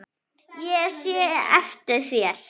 Ég sé svo eftir þér.